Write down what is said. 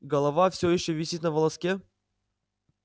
голова всё ещё висит на волоске